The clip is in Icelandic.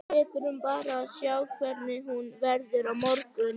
Við þurfum bara að sjá hvernig hún verður á morgun.